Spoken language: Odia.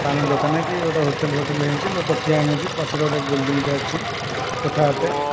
ପାନ ଦୋକାନ କି ହୋଟେଲ୍ ଫୋଟେଲ୍ ହେଇଛି ଲୋକ ଠିଆ ହେଇଛନ୍ତି ପଛରେ ଗୋଟେ ବିଲଡିଂ ଟେ ଅଛି କୋଠା ଘରଟେ।